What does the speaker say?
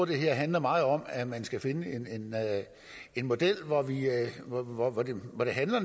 det her handler meget om at man skal finde en model hvor hvor det